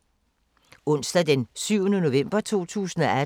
Onsdag d. 7. november 2018